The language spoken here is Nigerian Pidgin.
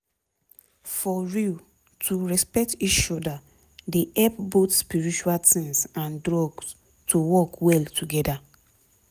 for real to respect each oda dey help both spiritual tins and drugs to work well together